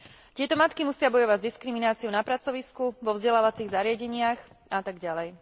Tieto matky musia bojovať s diskrimináciou na pracovisku, vo vzdelávacích zariadeniach a tak ďalej.